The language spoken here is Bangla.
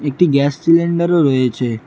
একটি গ্যাস সিলিন্ডারও রয়েছে।